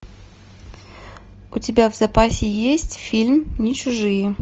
у тебя в запасе есть фильм не чужие